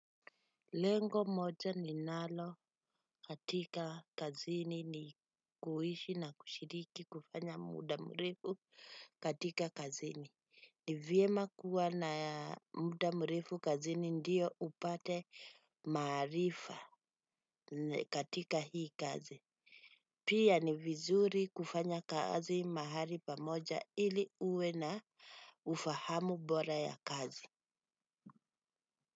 Lengo moja ninalo katika kazini ni kuishi na kushiriki kufanya muda mrefu katika kazini. Ni vyema kuwa na muda mrefu kazini ndio upate maarifa katika hii kazi. Pia ni vizuri kufanya kazi mahali pamoja ili uwe na ufahamu bora ya kazi.